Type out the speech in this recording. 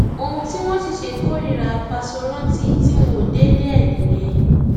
ohun tí wọn sì ṣe kórìíra fáṣórántì tí wọn ò délé ẹ nìyẹn